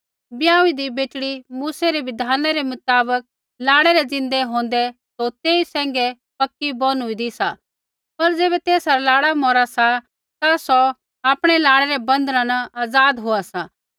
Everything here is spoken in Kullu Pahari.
ब्याहूईदीं बेटड़ी मूसै रै बिधाना रै मुताबक लाड़ै रै ज़िन्दै होंदै सौ तेई सैंघै पक्की बोनुईदीं सा पर ज़ैबै तेसा रा लाड़ा मौरा सा ता सौ आपणै लाड़ै रै बंधना न आज़ाद होआ सा